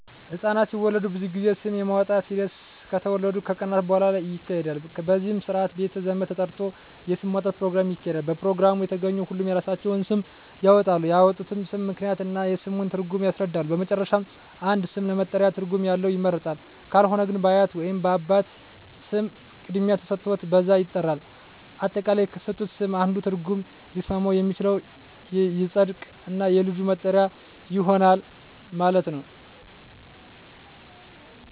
ህፃናት ሲወለዱ ብዙ ጊዜ ስም የማውጣት ሒደት ከተወለዱ ከቀናት በሁዋላ ይካሄዳል በዚህም ስርአት ቤተ ዘመድ ተጠርቶ የስም ማውጣት ኘሮግራም ይካሄዳል በፕሮግራሙ የተገኙ ሁሉም የራሳቸውን ስም ያወጣሉ ያወጡትንም ስም ምክንያት እና የስሙን ትርጉም ያስረዳሉ በመጨረሻም አንድ ስም ለመጠሪያ ትርጉም ያለው ይመረጣል ካልሆነ ግን በአያት ወይንም በአባት ስም ቅድሚያ ተሠጥቶት በዛ ይጠራል። አጠቃላይ ከተሠጡት ስም አንዱ ትርጉም ሊስማማ የሚችለው ይፀድቅ እና የልጁ መጠሪያ ይሆናል ማለት ነው።